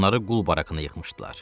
Onları qul barakına yıxmışdılar.